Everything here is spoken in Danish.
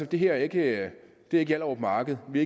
det her ikke er hjallerup marked vi